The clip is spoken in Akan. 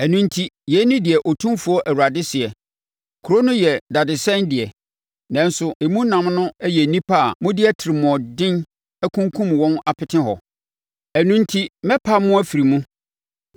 “Ɛno enti, yei ne deɛ Otumfoɔ Awurade seɛ: Kuro no yɛ dadesɛn deɛ, nanso emu ɛnam no yɛ nnipa a mode atirimuɔden akunkum wɔn apete hɔ. Ɛno enti, mɛpam mo afiri mu.